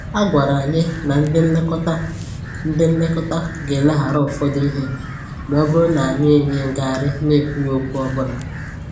A gwàrà anyị na ndị nlekọta ndị nlekọta gà-eleghara ụfọdụ ihe ma ọ bụrụ na anyị enye ngarị na-ekwughị okwu ọbụla